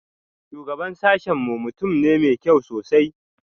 Shugaban sashen mu mutum ne mai kyau sosai